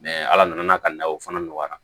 ala nana ka na o fana nɔgɔya